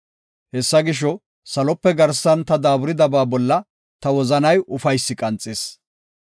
Hessa gisho, salope garsan ta daaburidaba bolla ta wozanay ufaysi qanxis.